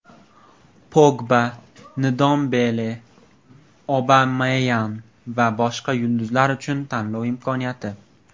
Pogba, Ndombele, Obameyang va boshqa yulduzlar uchun tanlov imkoniyati.